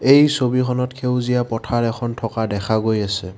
এই ছবিখনত সেউজীয়া পথাৰ এখন থকা দেখা গৈ আছে।